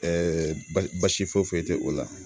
Ɛɛ basi foyi foyi tɛ o la